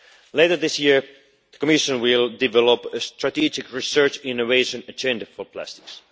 Later this year the Commission will develop a strategic research innovation agenda for plastics.